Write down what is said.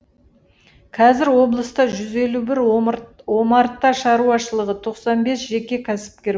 қазір облыста жүз елу бір омарта шаруашылығы тоқсан бес жеке кәсіпкер